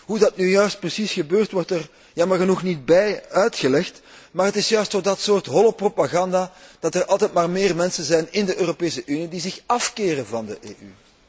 Hoe dat nu juist precies gebeurt, wordt er jammer genoeg niet bij uitgelegd, maar het is juist door dat soort holle propaganda dat er altijd maar meer mensen zijn in de Europese Unie die zich afkeren van de EU.